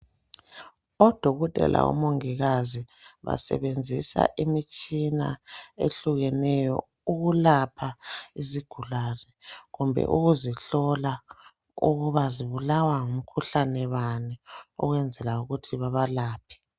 Odokotela, omongikazi basebenzisa imitshina ehlukeneyo ukulapha izigulane, kumbe ukuzihlola ukuba zibulawa ngumkhuhlane bani, ukwenzela ukuthi babalaphe.